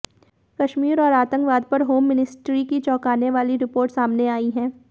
कश्मीर और आतंकवाद पर होम मिनिस्ट्री की चौंकाने वाली रिपोर्ट सामने आई है